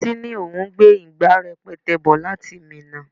Títí ní òun gbé ìgbà rẹpẹtẹ bò láti Minna.